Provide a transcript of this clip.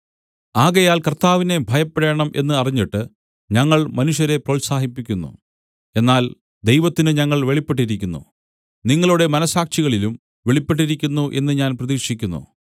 ആകയാൽ കർത്താവിനെ ഭയപ്പെടേണം എന്ന് അറിഞ്ഞിട്ട് ഞങ്ങൾ മനുഷ്യരെ പ്രോത്സാഹിപ്പിക്കുന്നു എന്നാൽ ദൈവത്തിനു ഞങ്ങൾ വെളിപ്പെട്ടിരിക്കുന്നു നിങ്ങളുടെ മനസ്സാക്ഷികളിലും വെളിപ്പെട്ടിരിക്കുന്നു എന്ന് ഞാൻ പ്രതീക്ഷിക്കുന്നു